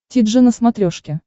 ти джи на смотрешке